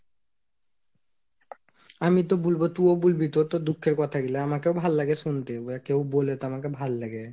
আমি তো বুলবো তুও বুলবি তো তোর দুঃখের কথা গুলা আমাকে ভাল লাগে শুনতে, কেউ বোলে তো আমাকে ভাল্লাগে